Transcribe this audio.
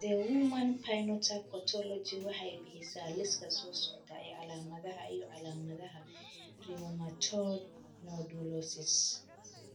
The Human Phenotype Ontology waxay bixisaa liiska soo socda ee calaamadaha iyo calaamadaha Rheumatoid nodulosis.